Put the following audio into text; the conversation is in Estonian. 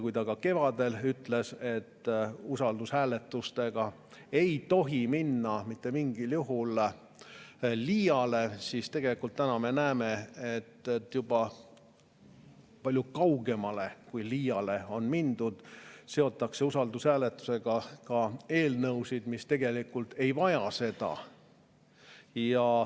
Kui ta kevadel ütles, et usaldushääletustega ei tohi mitte mingil juhul liiale minna, siis täna me näeme, et on mindud juba palju kaugemale kui liiale: usaldushääletusega seotakse ka eelnõusid, mis tegelikult ei vaja seda.